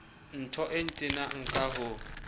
ntho e ntenang ka ho